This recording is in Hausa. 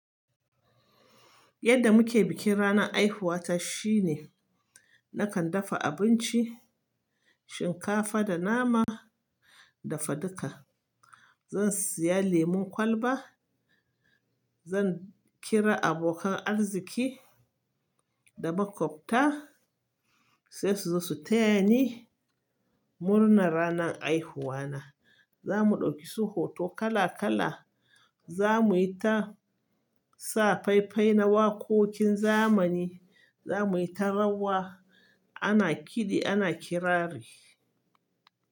Yadda muke bikin ranan haihuwata shine nakan dafa abinci, shinkafa da nama dafaduka. Zan siya lemon kwalba, zan kira abokan arziki da makwabta sai su zo su taya ni murnar ranan haihuwa na. Za mu ɗauki su hoto kala kala, za muyi ta sa fai fai na waƙoƙin zamani, za muyi ta rawa ana kidi ana kirari.